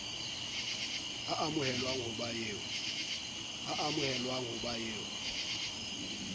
a amohelwang ho ba eo